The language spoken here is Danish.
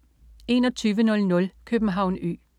2100 København Ø